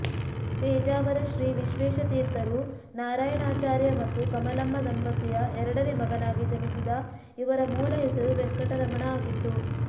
ಪೇಜಾವರ ಶ್ರೀ ವಿಶ್ವೇಶತೀರ್ಥರು ನಾರಾಯಣಾಚಾರ್ಯ ಮತ್ತು ಕಮಲಮ್ಮ ದಂಪತಿಯ ಎರಡನೇ ಮಗನಾಗಿ ಜನಿಸಿದ ಇವರ ಮೂಲ ಹೆಸರು ವೆಂಕಟರಮಣ ಆಗಿತ್ತು